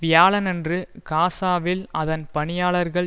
வியாழனன்று காசாவில் அதன் பணியாளர்கள்